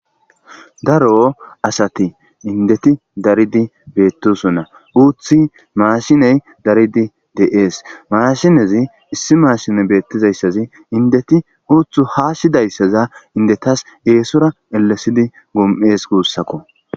Daro asati indeti daridi beettosona uuthi maashiney daridi deees mashinezi issi maashine beettizayssazi indeti uuthu haashshidayssaza indetas eesora elesidi gom'ees guussakko.